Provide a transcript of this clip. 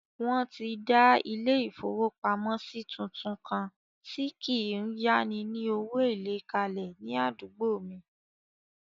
Wọ́n ti dà ilé-ìfowópamọ́sí tuntun kan tí kí n yá ni ní owó èlé kalẹ̀ ní àdúgbò mi